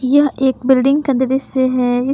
यह एक बिल्डिंग का दृश्य है इस--